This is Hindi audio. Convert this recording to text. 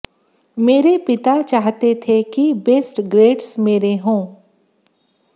मेरे पिता चाहते थे कि बेस्ट ग्रेडस मेरे हों